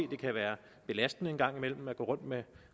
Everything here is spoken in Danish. det kan være belastende en gang imellem at gå rundt med